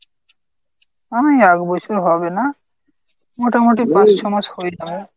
আমি একবছর হবে না। মোটামুটি পাঁচ ছ মাস হয়ে যাবে।